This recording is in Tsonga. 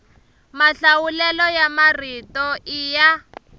mahlawulelo ya marito i ya